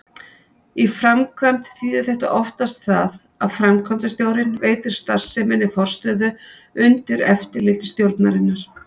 Í framkvæmd þýðir þetta oftast það að framkvæmdastjórinn veitir starfseminni forstöðu undir eftirliti stjórnarinnar.